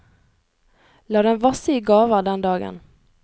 La dem vasse i gaver den dagen.